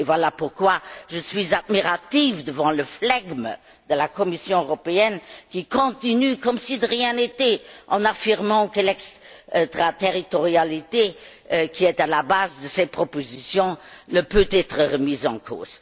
Voilà pourquoi je suis admirative devant le flegme de la Commission européenne, qui continue comme si de rien n'était, en affirmant que l'extraterritorialité, qui est à la base de cette proposition, ne peut être remise en cause.